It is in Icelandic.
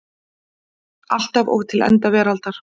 Alltaf og til enda veraldar.